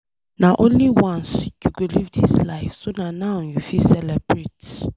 Na only once you go live dis life so na now you fit celebrate.